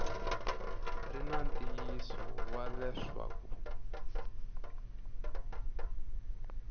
ri na ntiyiso wa leswaku